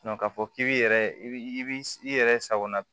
k'a fɔ k'i bi yɛrɛ i bi i yɛrɛ sagona